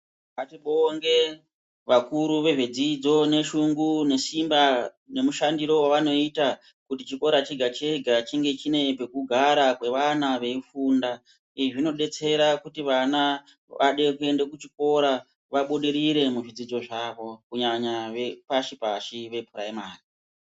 Ngatibonge vakuru vezvedzidzo neshungu nesimba nemushandire wavanoita kuti chikora chega-chega chinge chine pekugara kwevana veifunda. Izvi zvinodetsera kuti vana vade kuende kuchikora vabudirire muzvidzidzo zvavo kunyanya zvepashi-pashi vephuraimari..